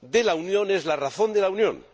de la Unión es la razón de la Unión